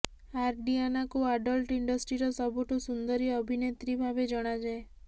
ଆଡ୍ରିଆନାକୁ adult ଇଣ୍ଡଷ୍ଟ୍ରିର ସବୁଠୁ ସୁନ୍ଦରୀ ଅଭିନେତ୍ରୀ ଭାବେ ଜଣାଯାଏ